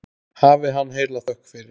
Hafi hann heila þökk fyrir.